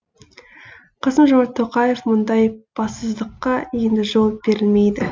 қасым жомарт тоқаев мұндай бассыздыққа енді жол берілмейді